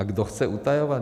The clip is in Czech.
A kdo chce utajovat?